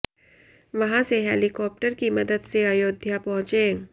वहां से हेलिकॉप्टर की मदद से अयोध्या पहुंचे